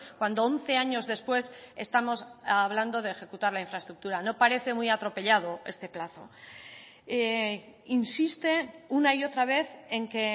cuando once años después estamos hablando de ejecutar la infraestructura no parece muy atropellado este plazo insiste una y otra vez en que